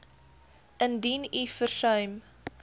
indien u versuim